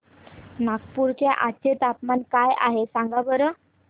नागपूर चे आज चे तापमान काय आहे सांगा बरं